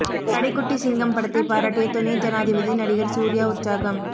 கடைக்குட்டி சிங்கம் படத்தை பாராட்டிய துணை ஜனாதிபதி நடிகர் சூர்யா உற்சாகம்